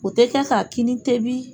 O tɛ kɛ ka kini tobi